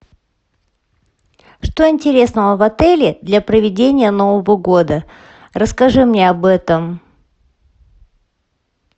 что интересного в отеле для проведения нового года расскажи мне об этом